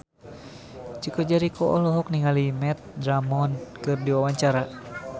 Chico Jericho olohok ningali Matt Damon keur diwawancara